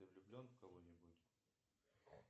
ты влюблен в кого нибудь